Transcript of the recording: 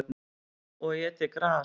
Og étið gras.